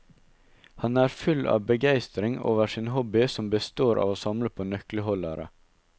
Han er full av begeistring over sin hobby som består av å samle på nøkleholdere.